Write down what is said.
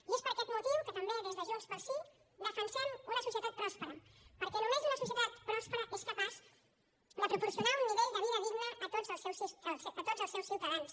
i és per aquest motiu que també des de junts pel sí defensem una societat pròspera perquè només una societat pròspera és capaç de proporcionar un nivell de vida digne a tots els seus ciutadans